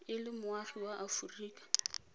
e le moagi wa aforika